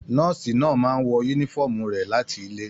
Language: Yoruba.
Nọ́ọ̀sì náà máa n wọ yúnífọ̀ọ́mù rẹ láti ilé.